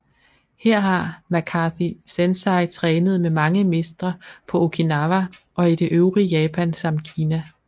Her har McCarthy Sensei trænet med mange mestre på Okinawa og i det øvrige Japan samt Kina